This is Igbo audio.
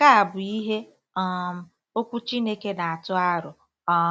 Nke a bụ ihe um Okwu Chineke na-atụ aro. um